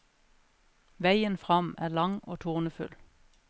Veien frem er lang og tornefull.